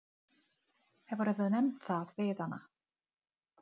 Ég hef farið upp í hann tvisvar sinnum.